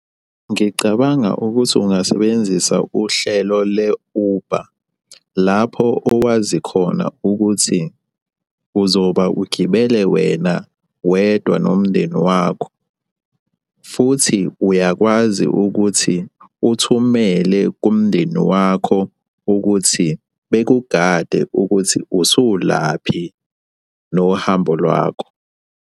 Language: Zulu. Ngicabanga ukuthi ungasebenzisa uhlelo le-Uber, lapho owazi khona ukuthi uzoba ugibele wena wedwa nomndeni wakho, futhi uyakwazi ukuthi uthumele kumndeni wakho ukuthi bekugade ukuthi usulaphi nohambo lwakho.